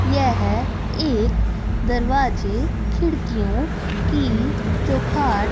यह एक दरवाजे खिड़कियों की चौखाट--